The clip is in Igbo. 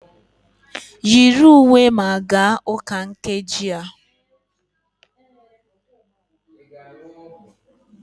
Yiri uwe ma gaa ụka nkeji a!